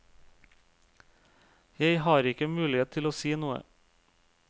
Jeg har ikke mulighet til å si noe.